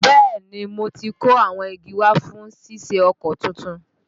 Bẹ́ẹ̀ni, mo ti kó awọn igi wa fún ṣíṣe ọkọ̀ tuntun